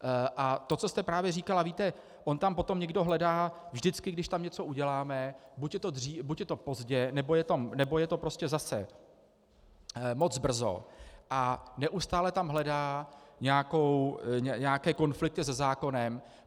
A to, co jste právě říkala, víte, on tam potom někdo hledá - vždycky, když tam něco uděláme, buď je to pozdě, nebo je to prostě zase moc brzo, a neustále tam hledá nějaké konflikty se zákonem.